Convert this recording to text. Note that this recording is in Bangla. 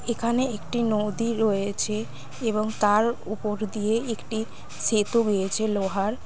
এখানে একটি নদী রয়েছে এবং তার উপর দিয়ে একটি সেতু গিয়েছে লোহার।